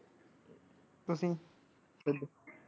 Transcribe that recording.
ਤੁਸੀਂ ਖੁਦ।